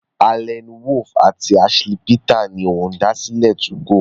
Allan Wolff àti Ashley Peter ni Olùdásílẹ̀ 2go.